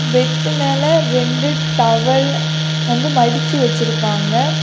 Bed மேல ரெண்டு towel வந்து மடிச்சு வெச்சுருக்காங்க.